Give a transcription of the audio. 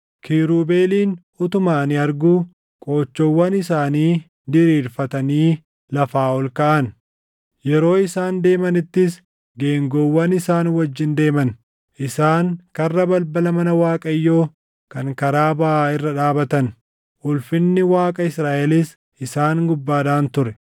Kiirubeeliin utuma ani arguu qoochoowwan isaanii diriirffatanii lafaa ol kaʼan; yeroo isaan deemanittis geengoowwan isaan wajjin deeman. Isaan karra balbala mana Waaqayyoo kan karaa baʼaa irra dhaabatan; ulfinni Waaqa Israaʼelis isaan gubbaadhaan ture.